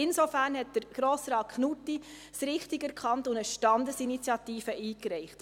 Insofern hat Grossrat Knutti es richtig erkannt und eine Standesinitiative eingereicht.